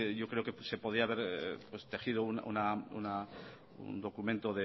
yo creo que se podía haber tejido un documento